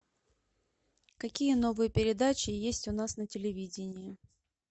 какие новые передачи есть у нас на телевидении